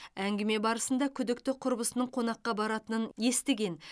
әңгіме барысында күдікті құрбысының қонаққа баратынын естіген